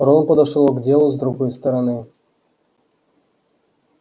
рон подошёл к делу с другой стороны